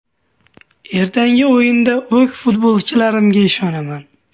Ertangi o‘yinda o‘z futbolchilarimga ishonaman.